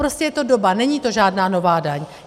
Prostě je to doba, není to žádná nová daň.